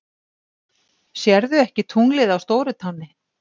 SÉRÐU EKKI TUNGLIÐ Á STÓRUTÁNNI!